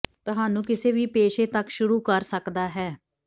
ਤੁਹਾਨੂੰ ਕਿਸੇ ਵੀ ਪੇਸ਼ੇ ਤੱਕ ਸ਼ੁਰੂ ਕਰ ਸਕਦਾ ਹੈ